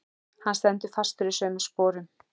Hann stendur fastur í sömu sporum.